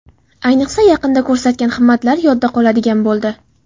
Ayniqsa, yaqinda ko‘rsatgan himmatlari yodda qoladigan bo‘ldi.